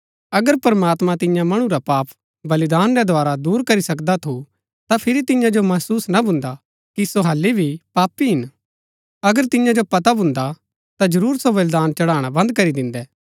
अगर प्रमात्मां तियां मणु रा पाप बलिदान रै द्धारा दूर करी सकदा थू ता फिरी तियां जो महसुस ना भून्दा कि सो हालि भी पापी हिन अगर तियां जो पता भून्दा ता जरूर सो बलिदान चढ़ाणा बन्द करी दिन्दै